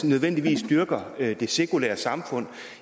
nødvendigvis dyrker det sekulære samfund